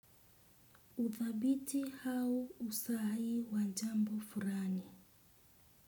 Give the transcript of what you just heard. Uthabiti ha usahihi wajambo furani.